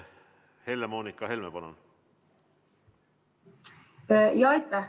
Helle-Moonika Helme, palun!